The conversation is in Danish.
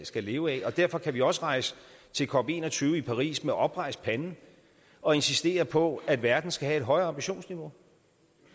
skal leve af derfor kan vi også rejse til cop en og tyve i paris med oprejst pande og insistere på at verden skal have et højere ambitionsniveau